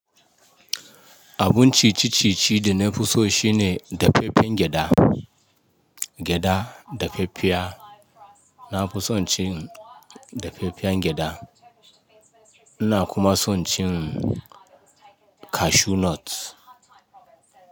Abun ci ci ci ci da na fi so shine dafaffen gyaɗa, gyaɗa, dafaffiya. Na fi son cin dafaffiyan gyaɗa. Ina kuma son cin cashew nut.